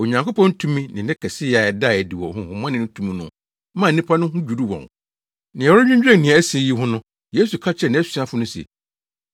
Onyankopɔn tumi ne ne kɛseyɛ a ɛdaa adi wɔ honhommɔne no tu mu no maa nnipa no ho dwiriw wɔn. Na wɔredwinnwen nea asi yi ho no, Yesu ka kyerɛɛ nʼasuafo no se,